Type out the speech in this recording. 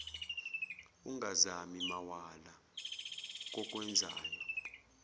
ungazami mawala kokwenzayo